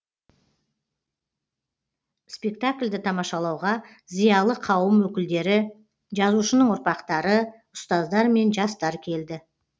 спектакльді тамашалауға зиялы қауым өкілдері жазушының ұрпақтары ұстаздар мен жастар келді